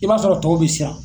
I b'a sɔrɔ tɔw bɛ siran.